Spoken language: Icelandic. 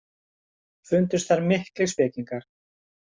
Fundust þar miklir spekingar.